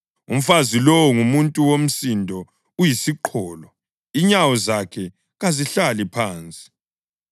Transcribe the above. (Umfazi lowo, ngumuntu womsindo uyisiqholo, inyawo zakhe kazihlali phansi;